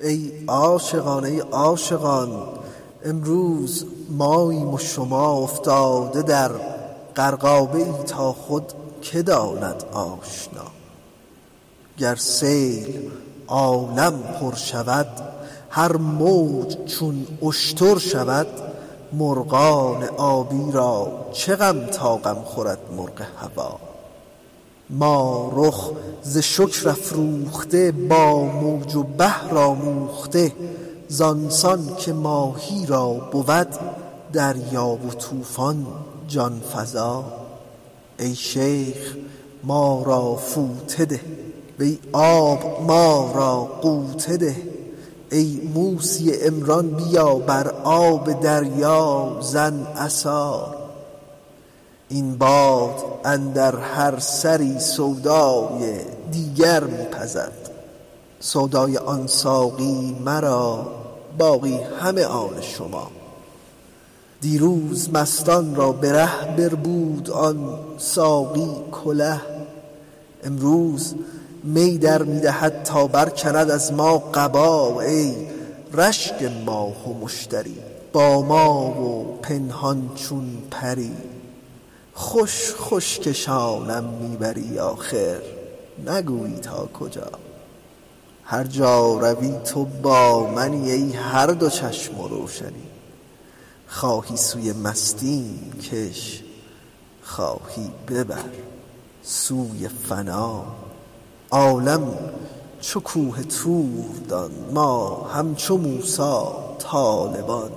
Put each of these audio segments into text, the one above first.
ای عاشقان ای عاشقان امروز ماییم و شما افتاده در غرقابه ای تا خود که داند آشنا گر سیل عالم پر شود هر موج چون اشتر شود مرغان آبی را چه غم تا غم خورد مرغ هوا ما رخ ز شکر افروخته با موج و بحر آموخته زان سان که ماهی را بود دریا و طوفان جان فزا ای شیخ ما را فوطه ده وی آب ما را غوطه ده ای موسی عمران بیا بر آب دریا زن عصا این باد اندر هر سری سودای دیگر می پزد سودای آن ساقی مرا باقی همه آن شما دیروز مستان را به ره بربود آن ساقی کله امروز می در می دهد تا برکند از ما قبا ای رشک ماه و مشتری با ما و پنهان چون پری خوش خوش کشانم می بری آخر نگویی تا کجا هر جا روی تو با منی ای هر دو چشم و روشنی خواهی سوی مستیم کش خواهی ببر سوی فنا عالم چو کوه طور دان ما همچو موسی طالبان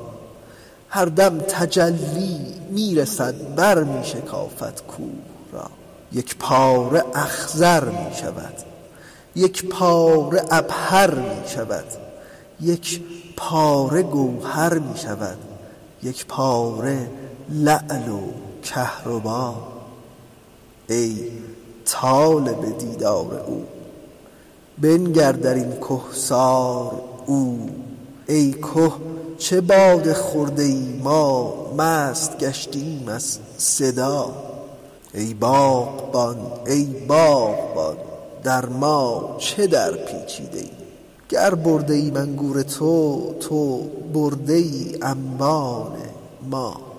هر دم تجلی می رسد برمی شکافد کوه را یک پاره اخضر می شود یک پاره عبهر می شود یک پاره گوهر می شود یک پاره لعل و کهربا ای طالب دیدار او بنگر در این کهسار او ای که چه باده خورده ای ما مست گشتیم از صدا ای باغبان ای باغبان در ما چه درپیچیده ای گر برده ایم انگور تو تو برده ای انبان ما